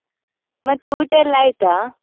ಮತ್ತೆ ಊಟ ಎಲ್ಲಾ ಆಯ್ತಾ?